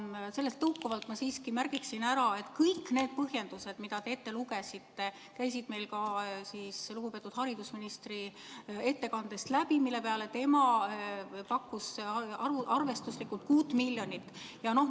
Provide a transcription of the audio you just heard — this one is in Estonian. Aga sellest tõukuvalt ma siiski märgiksin ära, et kõik need põhjendused, mida te ette lugesite, käisid meil ka lugupeetud haridusministri ettekandest läbi, mille peale tema pakkus arvestuslikult 6 miljonit eurot.